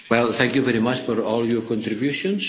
things. Thank you very much for all your contributions.